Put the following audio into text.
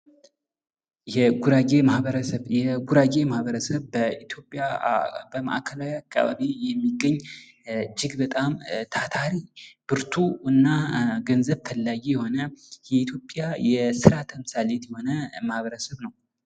የጉራጌ ማህበረሰብ፦ የጉራጌ ማህበረሰብ በኢትዮጵያ በማእከላዊ አካበቢ የሚገኝ እጅግ በጣም ታታሪ ብርቱ ገንዘብ ፈላጊ የሆነ የኢትዮጵያ የስራ ተምሳሌት የሆነ ማህበርሰብ ነው።